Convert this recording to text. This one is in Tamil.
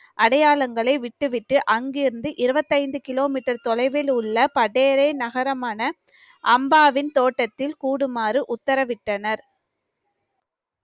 அடையாளங்களை விட்டுவிட்டு அங்கிருந்து இருபத்தைந்து கிலோமீட்டர் தொலைவில் உள்ள பட்டேரி நகரமான அம்பாவின் தோட்டத்தில் கூடுமாறு உத்தரவிட்டனர்